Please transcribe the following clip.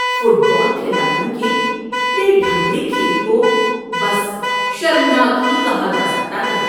Fit بال کھلاڑیوں کے بے ڈھنگے کھیل کو بس شرمناک ہی کہا جا سکتا ہے۔